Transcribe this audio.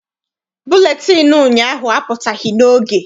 Buletịịnụ ụnyaahụ apụtaghị n'oge.